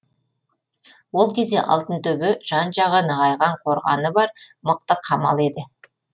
ол кезде алтынтөбе жан жағы нығайған қорғаны бар мықты қамал еді